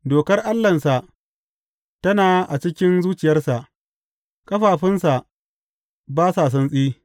Dokar Allahnsa tana a cikin zuciyarsa; ƙafafunsa ba sa santsi.